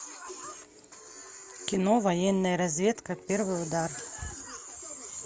кино военная разведка первый удар